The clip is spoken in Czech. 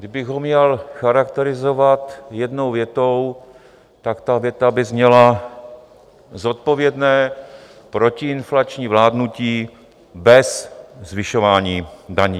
Kdybych ho měl charakterizovat jednou větou, tak ta věta by zněla: zodpovědné protiinflační vládnutí bez zvyšování daní.